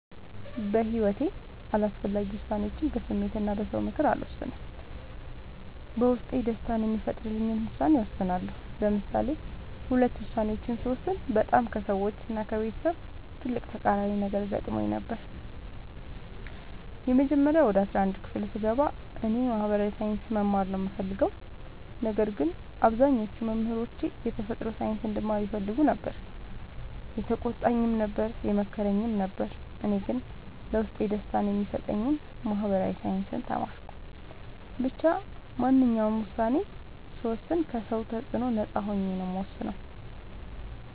በሒወቴ አስፈላጊ ወሳኔዎችን በስሜት እና በ ሰው ምክር አልወሰንም። በውስጤ ደስታን የሚፈጥርልኝን ውሳኔ እወስናለሁ። ለምሳሌ ሁለት ውሳኔዎችን ስወስን በጣም ከሰዎች እና ከቤተሰብ ትልቅ ተቃራኒ ነገር ገጥሞኝ ነበር። የመጀመሪያው ወደ አስራአንድ ክፍል ስገባ እኔ የ ማህበራዊ ሳይንስ መማር ነው የምፈልገው። ነገር ግን አብዛኞቹ መምህሮቼ የተፈጥሮ ሳይንስ እንድማር ይፈልጉ ነበር የተቆጣኝም ነበር የመከረኝም ነበር እኔ ግን ለውስጤ ደስታን የሚሰጠኝን ማህበራዊ ሳይንስ ተማርኩ። ብቻ ማንኛውንም ውሳኔ ስወስን ከ ሰው ተፅዕኖ ነፃ ሆኜ ነው የምወስነው።